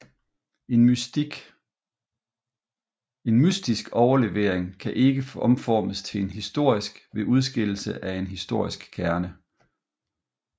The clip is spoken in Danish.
En mytisk overlevering kan ikke omformes til en historisk ved udskillelse af en historisk kerne